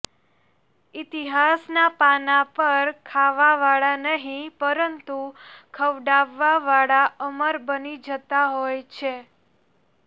ઈતિહાસના પાના પર ખાવાવાળા નહીં પરંતુ ખવડાવવાવાળા અમર બની જતાં હોય છે